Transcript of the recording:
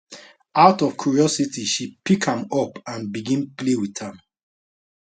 out of curiosity she pick am up and begin play wit am